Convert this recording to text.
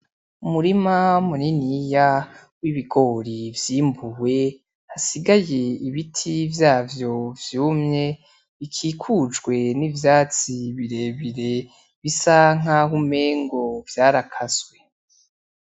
Umurima muniniya w'ibigori vyimbuwe hasigaye ibiti vyavyo vyumye, bikikujwe n'ivyatsi birebire bisa nkaho umengo vyarakaswe.